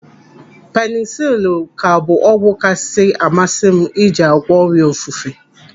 Penisilinu ka bụ ọgwụ kasị amasị m iji àgwọ́ ọrịa ofufe.